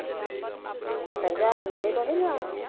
ਸੱਤਰ ਹਜ਼ਾਰ ਨੱਬੇ ਤੋਂ ਨਹੀਂ ਲੈਣਾ,